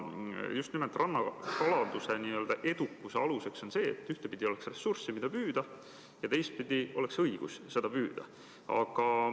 Just nimelt rannakalanduse edukuse alus on ühtpidi see, et oleks kala, mida püüda, ja teistpidi see, et oleks õigus seda püüda.